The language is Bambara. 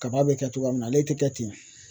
Kaba bɛ kɛ cogoya min na ale tɛ kɛ ten o.